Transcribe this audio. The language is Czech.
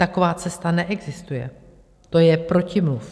Taková cesta neexistuje, to je protimluv.